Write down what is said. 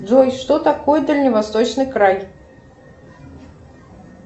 джой что такое дальневосточный край